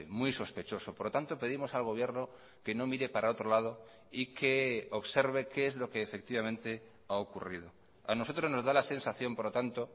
muy sospechoso por lo tanto pedimos al gobierno que no mire para otro lado y que observe qué es lo que efectivamente ha ocurrido a nosotros nos da la sensación por lo tanto